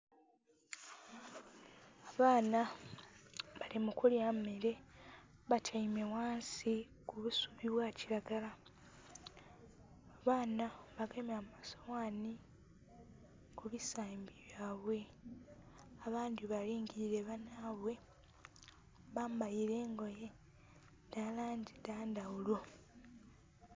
Abaana bali mu kulya mmele, batyaime ghansi ku busubi bwa kilagala. Abaana bagenye amasoghani ku bisambi byaibwe. Abandhi balingilile banhaibwe. Bambaile engoye dha langi dha ndhaghulo.